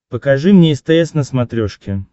покажи мне стс на смотрешке